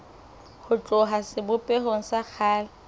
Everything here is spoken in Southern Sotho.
ho tloha sebopehong sa kgale